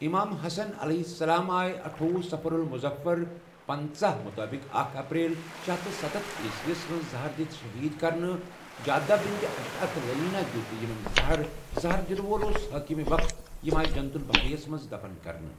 امام حسن علیہ السلام آیہ اَٹھۄہ صفر المظفر پنژاہ مطابق اکھ اپریل شے ہتھ تہٕ سَتتھ عیسویس مَنٛز زہر دیتھ شہید کَرنہٕ جعدہ بنت اشعت لعینہ دویت اِمنَ زہر زہر دنہ وول اوس حاکم وقتھ یم آیہ جنت البقیس مَنٛز دفن کَرنہٕ